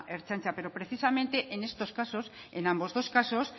ertzaintza pero precisamente en estos casos en ambos dos casos